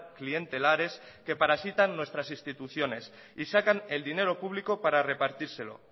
clientelares que parasitan nuestras instituciones y sacan el dinero público para repartírselo